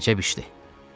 Əcəb işdi.